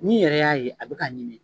N'i yɛrɛ y'a ye a bɛ k'a ɲimi